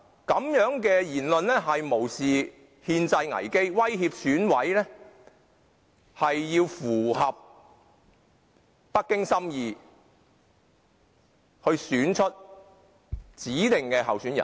這樣的言論無視憲制危機，威脅選委要符合北京心意，選出其所指定的候選人。